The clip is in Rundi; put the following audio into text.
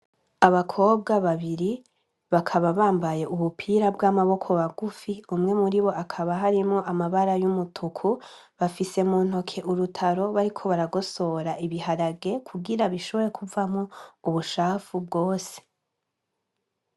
Abakobwa babiri bakaba bambaye ubupira bw'amaboko bagufi umwe muri bo akaba harimo amabara y'umutuku bafise mu ntoke urutaro bariko baragosora ibiharage kugira bishobore kuvamwo ubushafu bwose.